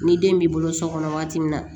Ni den b'i bolo so kɔnɔ waati min na